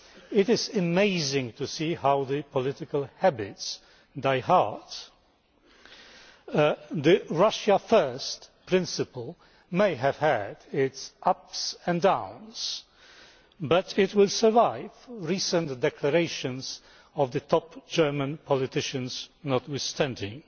It is amazing to see how political habits die hard. The Russia first' principle may have had its ups and downs, but it will survive recent declarations by top German politicians notwithstanding.